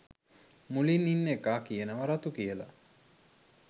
මුලින් ඉන්න එකා කියනවා රතු කියලා